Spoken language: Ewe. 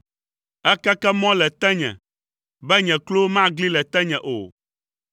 Èkeke mɔ le tenye, be nye klowo magli le tenye o.